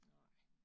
Nej